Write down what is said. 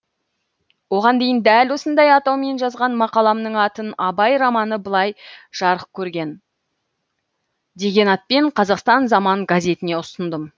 оған дейін дәл осындай атаумен жазған мақаламның атын абай романы былай жарық көрген деген атпен қазақстан заман газетіне ұсындым